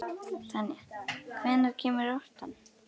Tanja, hvenær kemur áttan?